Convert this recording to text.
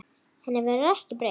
Henni verður ekki breytt.